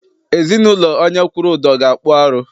Ezinaụlọ onye kwụrụ ụdọ ga- akpụ arụ.